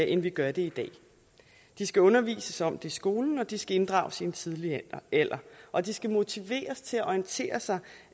end vi gør det i dag de skal undervises om det i skolen og de skal inddrages i en tidlig alder og de skal motiveres til at orientere sig